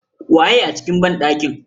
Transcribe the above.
Waye a cikin banɗakin?